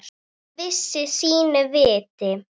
Hann vissi sínu viti.